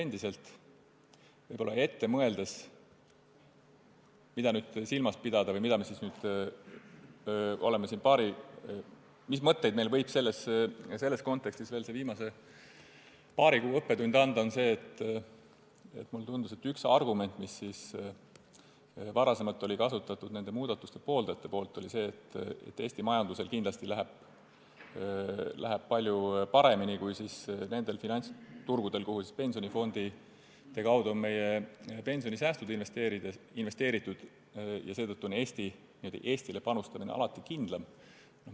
Kui ettepoole vaatavalt mõelda, mida nüüd silmas pidada või mis mõtteid võib meis see viimase paari kuu õppetund selles kontekstis tekitada, siis mulle tundub, et üks argument, mida nende muudatuste pooldajad varasemalt kasutasid, oli see, et Eesti majandusel läheb kindlasti palju paremini kui nendel finantsturgudel, kuhu pensionifondide kaudu on meie pensionisäästud investeeritud, ja seetõttu on Eestile panustamine alati kindlam.